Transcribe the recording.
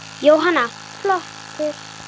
Jóhanna: Flottur?